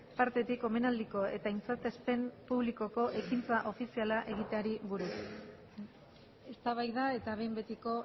partetik omenaldiko eta aintzatespen publikoko ekintza ofiziala egiteari buruz eztabaida eta behin betiko